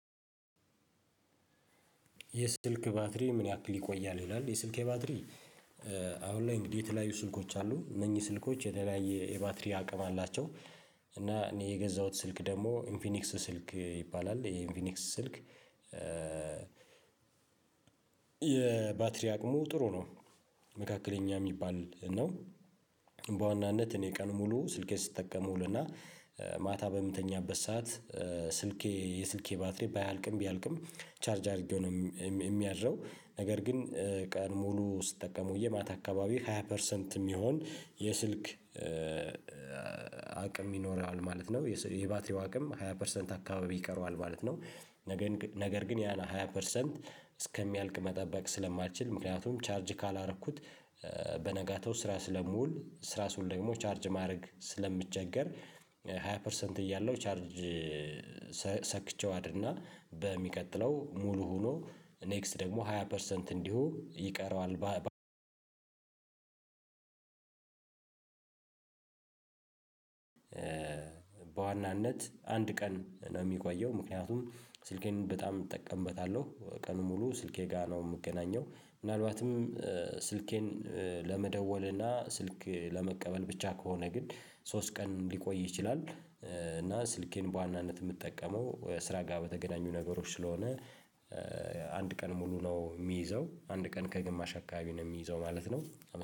የስልክ ባትሪ ምን ያክል ይቆያል? ይላል የስልኬ ባትሪ አሁን ላይ እንግዲህ ስልኮች አሉ እነኚህ ስልኮች የተለያየ የባትሪ አቅም አላቸው እና እኔ የገዛሁት ስልክ ደግሞ ኢንፊኒክስ ስልክ ይባላል የኢንፊኒክስ ስልክ የባትሪ አቅሙ ጥሩ ነው መካከለኛ የሚባል ነው። በዋናነት እኔ ቀን ሙሉ ስልኬ ስትጠቀም እውልና ማታ በምትተኛበት ሰዓት ስልኬ የስልኬ ባትሪ ባያልቅም ቢያልቅም ቻርጅ አድርጌው ነው የሚያድረው ነገር ግን ቀን ሙሉ ስትጠቀም ማታ አካባቢ ሃያ ፐርሰንት የሚሆን የስልክ አቅም ይኖረዋል ማለት ነው። የባትሪው አቅም ሃያ ፐርሰንት አካባቢ ይቀረዋል ማለት ነው። ነገር ግን ያ ነው ሃያ ፐርሰንት እስከሚያልቅ መጠበቅ ስለማትችል ምክንያቱም ቻርጅ ካላረኩት በነጋታው ስራ ስለምውል ስራ ስውል ደግሞ ቻርጅ ማድረግ ስለሚቸገር ሃያ ፐርሰንት እያለው ቻርጅ ሰክቼው አድርና በሚቀጥለው ሙሉ ሆኖ ኔክስት ደግሞ ሃያ ፐርሰንት እንዲሁ ይቀረዋል በዋናነት አንድ ቀን ነው የሚቆየው ምክንያቱም ስልኬን በጣም እጠቀምበታለሁ ቀን ሙሉ ስልኬ ጋር ነው የምገናኘው ምናልባትም ስልኬን ለመደወል እና ስልክ ለመቀበል ብቻ ከሆነ ግን ሶስት ቀን ሊቆይ ይችላል እና ስልኬን በዋናነት የምጠቀመው ስራ ጋር በተገናኙ ነገሮች ስለሆነ አንድ ቀን ሙሉ ነው የሚይዘው አንድ ቀን ከግማሽ አካባቢ ነው የሚይዘው ማለት ነው